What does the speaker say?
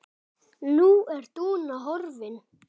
Nú er Dúna horfin.